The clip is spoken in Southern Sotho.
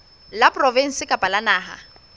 la provinse kapa la naha